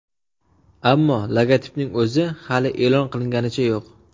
Ammo logotipning o‘zi hali e’lon qilinganicha yo‘q .